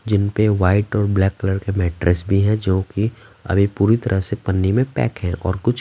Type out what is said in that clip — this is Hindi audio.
जिनपे वाइट और ब्लैक कलर के मैट्रेस भी हैं जो कि अभी पूरी तरह से पन्नी में पैक हैं और कुछ --